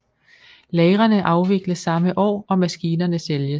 Lagrene afvikles samme år og maskinerne sælges